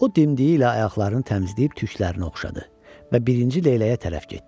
O dimdiyi ilə ayaqlarını təmizləyib tüklərini oxşadı və birinci leyləyə tərəf getdi.